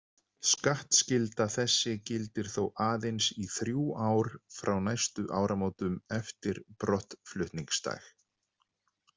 Skattskylda þessi gildir þó aðeins í þrjú ár frá næstu áramótum eftir brottflutningsdag.